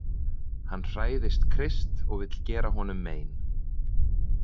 Hann hræðist Krist og vill gera honum mein